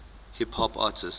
hip hop artists